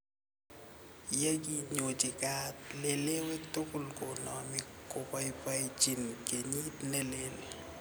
Yeki nyochi kaat lelewek tugul konami kobaibaenjin kenyit ne lel